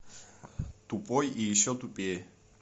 тупой и еще тупее